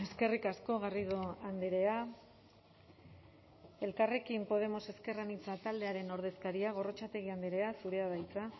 eskerrik asko garrido andrea elkarrekin podemos ezker anitza taldearen ordezkaria gorrotxategi andrea zurea da hitza